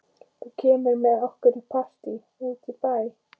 Þú kemur með okkur í partí út í bæ.